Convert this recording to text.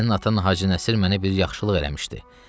Sənin atan Hacı Nəsir mənə bir yaxşılıq eləmişdi.